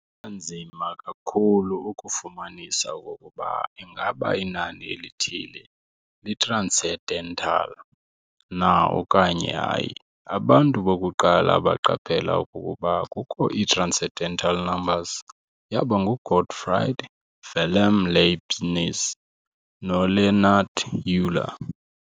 Kunganzima kakhulu ukufumanisa okokuba ingaba inani elithile li-transcendental na okanye hayi. Abantu bokuqala abaqaphela okokuba kukho ii-transcendental numbers yaba ngu-Gottfried Wilhelm Leibniz no-Leonhard Euler.